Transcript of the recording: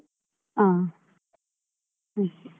ಹ ಹ್ಮ್.